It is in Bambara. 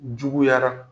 Juguyara